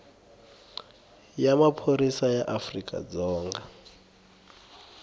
ya maphorisa ya afrika dzonga